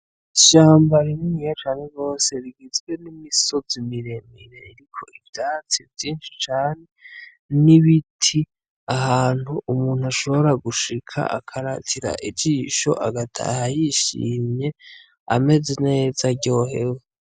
Ishamba rininiya cane rose rigizwe n'imisozi miremire riko ivyatsi vyinshi cane n'ibiti, ahantu umuntu ashobora gushika akaratira ijisho agataha yishimye ameze neza aryohewe.